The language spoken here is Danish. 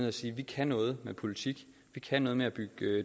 og sige vi kan noget med politik vi kan noget med at bygge